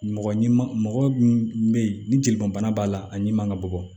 Mɔgɔ ɲi ma mɔgɔ min be yen ni jelibana b'a la a ɲimi man ka bɔ